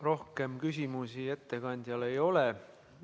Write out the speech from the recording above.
Rohkem küsimusi ettekandjale ei ole.